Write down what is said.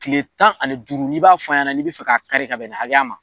Kile tan ani duuru ni b'a f'an ɲɛna n'i b'a fɛ ka kari ka bɛn ni hakɛya ma